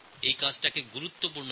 এই কাজকে গুরুত্ব দিয়েছেন